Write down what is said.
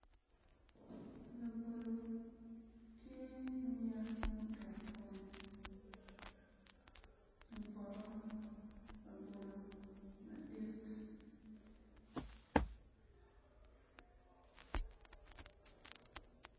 Labolo tye munyak muketo kome i poto labolo madit